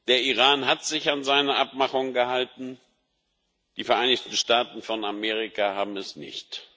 Der Iran hat sich an seine Abmachungen gehalten, die Vereinigten Staaten von Amerika haben es nicht.